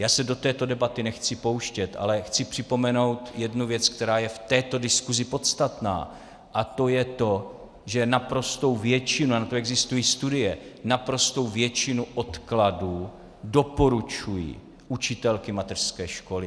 Já se do této debaty nechci pouštět, ale chci připomenout jednu věc, která je v této diskusi podstatná, a to je to, že naprostou většinu, a na to existují studie, naprostou většinu odkladů doporučují učitelky mateřské školy.